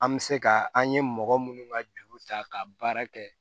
An bɛ se ka an ye mɔgɔ minnu ka juru ta ka baara kɛ